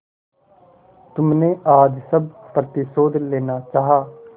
तुमने आज सब प्रतिशोध लेना चाहा